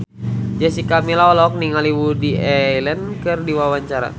Jessica Milla olohok ningali Woody Allen keur diwawancara